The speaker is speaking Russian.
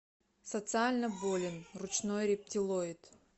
социально болен ручной рептилоид